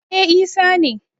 e Isa ne